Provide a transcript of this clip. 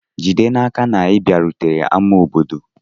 Jide n'aka na ị bịarutere ama obodo.